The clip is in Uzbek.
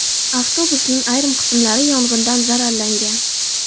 Avtobusning ayrim qismlari yong‘indan zararlangan.